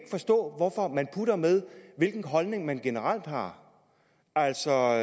forstå hvorfor man putter med hvilken holdning man generelt har altså